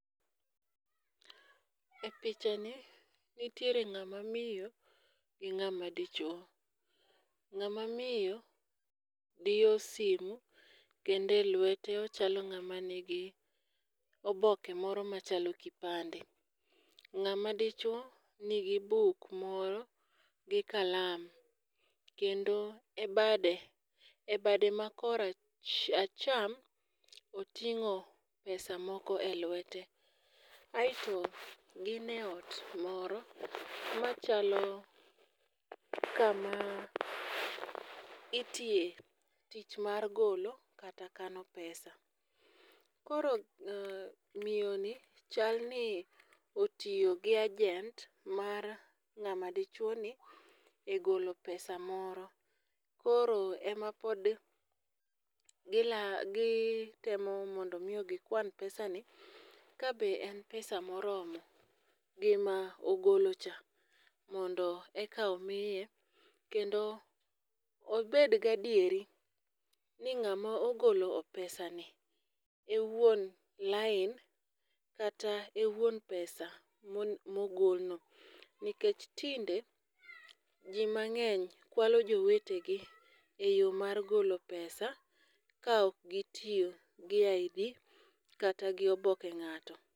E pichani, nitiere ng'ama miyo gi ng'ama dichwo. Ng'ama miyo diyo simu kendo e luete ochalo ng'ama nigi oboke moro machalo kipande. Ng'ama dichuo nigi buk moro gi kalam, kendo e bade, e bade ma kor acham, oting'o pesa moko e luete. Aito gin e ot moro machalo kama itiye tich mar golo kata kano pesa. Koro miyoni chal ni otiyo gi agent mar ng'ama dichuo ni e golo pesa moro. Koro e ma pod gitemo mondo omiyo gikwan pesani ka be en pesa moromo gi ma ogolo cha mondo eka omiye . Kendo obed gi adieri ni ng'ama ogolo pesa ni e wuon line line kata e wuon pesa mogolno nikech tinde, ji mang'eny kwalo jowetegi e yo mar golo pesa ka ok gitiyo gi ID kata gi oboke ng'ato.